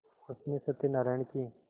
उसने सत्यनाराण की